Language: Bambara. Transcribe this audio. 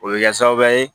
O bɛ kɛ sababu ye